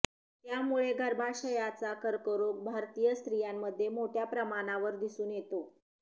त्यामुळे गर्भाशयाचा कर्करोग भारतीय स्त्रियांमध्ये मोठ्या प्रमाणावर दिसून येतो